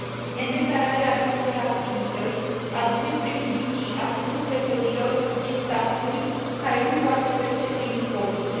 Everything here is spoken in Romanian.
Nedeclararea acestor activități aduce prejudicii atât lucrătorilor, cât și statului, care nu poate percepe impozite.